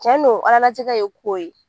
Cɛn don ala latigɛ ye ko ye